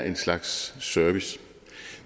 en slags service